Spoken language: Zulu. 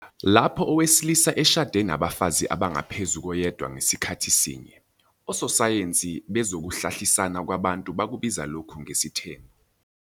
Lapho owesilisa eshade nabafazi abangaphezu koyedwa ngasikhathi sinye, ososayensi bezokuhlalisana kwabantu bakubiza lokhu ngesithembu.